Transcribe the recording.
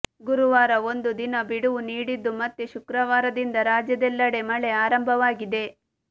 ಗುರುವಾರ ಒಂದು ದಿನ ಬಿಡುವು ನೀಡಿದ್ದು ಮತ್ತೆ ಶುಕ್ರವಾರದಿಂದ ರಾಜ್ಯದೆಲ್ಲೆಡೆ ಮಳೆ ಆರಂಭವಾಗಿದೆ